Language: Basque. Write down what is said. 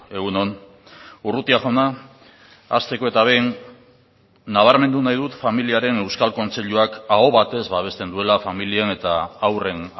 egun on urrutia jauna hasteko eta behin nabarmendu nahi dut familiaren euskal kontseiluak aho batez babesten duela familien eta haurren